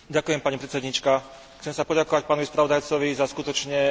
Chcem sa poďakovať pánovi spravodajcovi za skutočne veľmi dobrú správu.